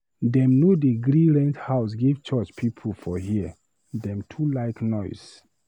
Dem no dey gree rent house give church pipu for here, dem too like noise.